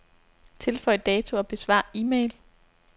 Tilføj dato og besvar e-mail.